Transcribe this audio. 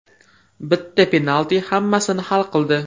Bitta penalti hammasini hal qildi.